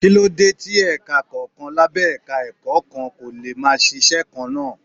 Kí ló dé tí ẹ̀ka kọ̀ọ̀kan lábẹ́ Ẹ̀ka-ẹ̀kọ́ kan kò lè máa ṣiṣẹ́ kan náà.